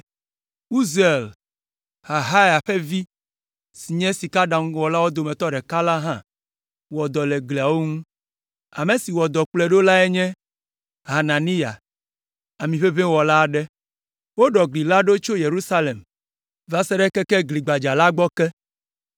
Uziel, Harhaia ƒe vi si nye sikaɖaŋuwɔlawo dometɔ ɖeka la hã wɔ dɔ le gliawo ŋu. Ame si wɔ dɔ kplɔe ɖo lae nye Hananiya, amiʋeʋĩwɔla aɖe. Woɖɔ gli la ɖo tso Yerusalem va se ɖe keke Gli Gbadza la gbɔ ke.